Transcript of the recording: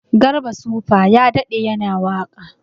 Garba supa ya daɗe yana waka